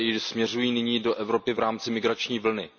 směřují nyní do Evropy v rámci migrační vlny.